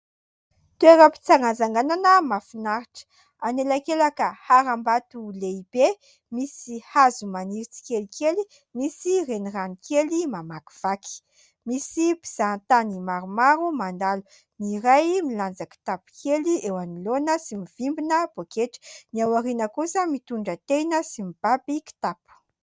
Toeram-pitsangatsanganana mahafinaritra. Anelakelaka haram-bato lehibe misy hazo maniry tsikelikely, misy renirano kely mamakivaky. Misy mpizahatany maromaro mandalo, ny iray milanja kitapo kely eo anoloana sy mivimbina pôketra, ny ao aoriana kosa mitondra tehina sy mibaby kitapo.